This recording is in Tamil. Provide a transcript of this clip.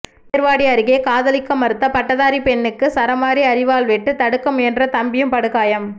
ஏர்வாடி அருகே காதலிக்க மறுத்த பட்டதாரி பெண்ணுக்கு சரமாரி அரிவாள் வெட்டு தடுக்க முயன்ற தம்பியும் படுகாயம்